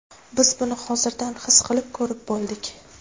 Biz buni hozirdan his qilib, ko‘rib bo‘ldik.